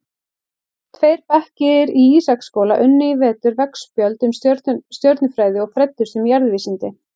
Tveir bekkir í Ísaksskóla unnu í vetur veggspjöld um stjörnufræði og fræddust um jarðvísindi.